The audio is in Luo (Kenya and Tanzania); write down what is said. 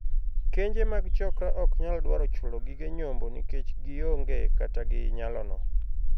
Kenje mag 'chokra' ok nyal dwaro chulo gige nyombo nikech gioonge kata gi nyalono.